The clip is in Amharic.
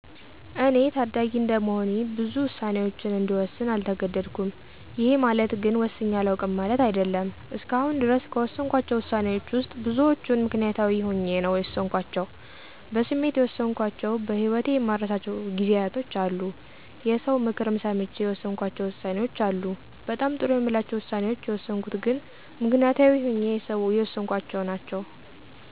እኔ ታዳጊ እንደመሆኔ ብዙ ውሳኔወችን እንድወስን አልተገደድኩም። ይሄ ማለት ግን ወስኘ አላውቅም ማለት አይደለም። እስከአሁን ድረስ ከወሰንኳቸው ውሳኔወች ውስጥ ብዙወቹን ምክንያታዊ ሆኘ ነው የወሰንኳቸው። በስሜት የወሰንኳቸው በህወቴ የማረሳቸው ጊዜያቶች አሉ። የሰው ምክርም ሰምቼ የወሰንኳቸው ውሳኔወች አሉ። በጣም ጥሩ የምላቸው ውሳኔወች የወሰንኩት ግን ምክንያታዊ ሆኜ የወሰንኳቸው ናቸው።